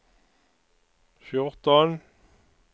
fjorton